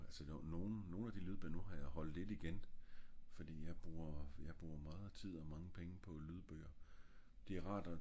altså nogen nogen af de lydbøger nu har jeg holdt lidt igen fordi jeg bruger jeg bruger meget tid og mange penge på lydbøger